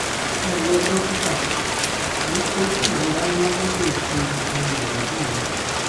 ẹ ǹlẹ́ o dókítà mò ń kojú ìrora ńlá nítòsí egungun ìbàdí mi